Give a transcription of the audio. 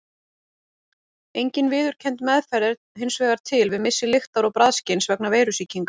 Engin viðurkennd meðferð er hins vegar til við missi lyktar- og bragðskyns vegna veirusýkingar.